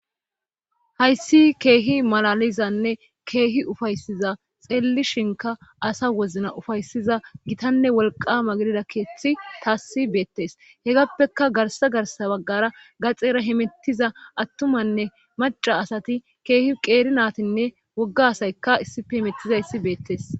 hayssi keehi malalizanne keehi ufaysiza xelli shinka asa wozna ufaysiza gitanne wolqama gidida keeththi taassi beettes hegappeka garsa garsa baggara gaxeera himettiza attumanne maca asati keehi qeeri naatinne wogga asayka issife himettizayssi beettes